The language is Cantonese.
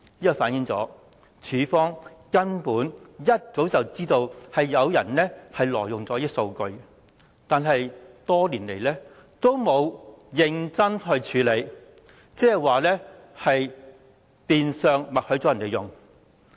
這反映當局根本一早便知道有人挪用這些數據，但多年來沒有認真處理，即代表變相默許他們採用數據。